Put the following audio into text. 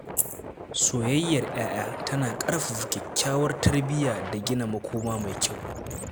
Soyayyar ‘ya’ya tana ƙarfafa kyakkyawar tarbiyya da gina makoma mai kyau.